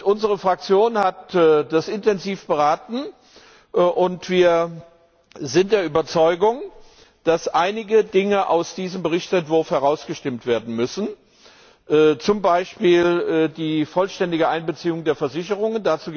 Unsere Fraktion hat darüber intensiv beraten und wir sind der Überzeugung, dass einige Dinge aus diesem Berichtsentwurf herausgestimmt werden müssen, zum Beispiel die vollständige Einbeziehung der Versicherungen.